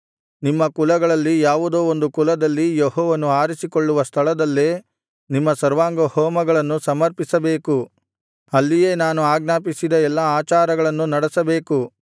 ನಿಮ್ಮ ಕುಲಗಳಲ್ಲಿ ಯಾವುದೋ ಒಂದು ಕುಲದಲ್ಲಿ ಯೆಹೋವನು ಆರಿಸಿಕೊಳ್ಳುವ ಸ್ಥಳದಲ್ಲೇ ನಿಮ್ಮ ಸರ್ವಾಂಗಹೋಮಗಳನ್ನು ಸಮರ್ಪಿಸಬೇಕು ಅಲ್ಲಿಯೇ ನಾನು ಆಜ್ಞಾಪಿಸಿದ ಎಲ್ಲಾ ಆಚಾರಗಳನ್ನು ನಡೆಸಬೇಕು